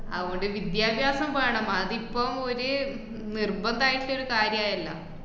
അത്കൊണ്ട് വിദ്യാഭ്യാസം വേണം അതിപ്പം ഒരു ഉം നിർബന്ധം ആയിട്ടൊരു കാര്യായല്ലോ.